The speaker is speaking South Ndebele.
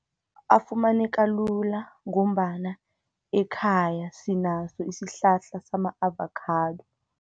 Afumaneka lula, ngombana ekhaya, sinaso isihlahla sama-avakhado.